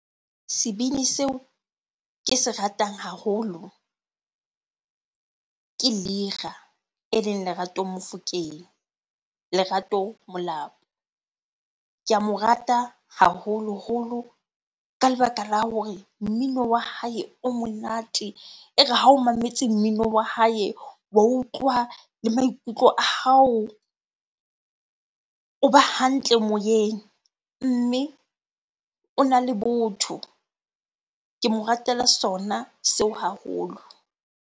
Sebini seo ke se ratang haholo ke Lira eleng Lerato Mofokeng, Lerato Molapo. Ke a mo rata haholoholo ka lebaka la hore mmino wa hae o monate. E re ha o mametse mmino wa hae wa utlwa le maikutlo a hao, o ba hantle moyeng. Mme ona le botho. Ke mo ratela sona seo haholo.